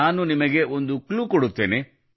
ನಾನು ನಿಮಗೆ ಒಂದು ಕ್ಲೂ ಕೊಡುತ್ತೇನೆ